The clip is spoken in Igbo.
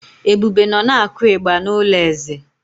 Ebube nọ na-akụ ịgbà n’ụlọ eze.